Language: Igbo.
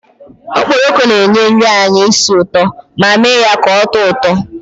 Okporoko na-enye nri anyị isi ụtọ ma mee ya ka oto uto